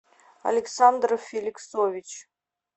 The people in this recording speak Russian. александр феликсович